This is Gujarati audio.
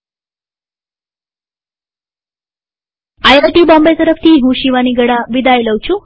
આઇઆઇટી બોમ્બે તરફથી હું શિવાની ગડા વિદાય લઉં છુંટ્યુ્ટોરીઅલમાં ભાગ લેવા આભાર